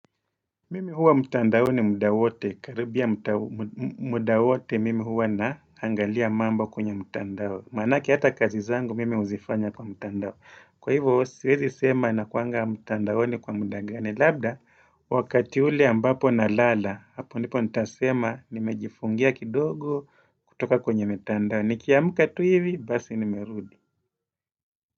Mimi huwa mtandani muda wote. Karibia muda wote mimi huwa na angalia mambo kwenye mtandao. Maanake hata kazi zangu mimi huzifanya kwa mtandao. Kwa hivyo, siwezi sema na kuanga mtandaoni kwa muda gani. Labda, wakati ule ambapo na lala, hapo ndipo nitasema nimejifungia kidogo kutoka kwenye mitandao. Nikiamka tu hivi, basi nimerudi.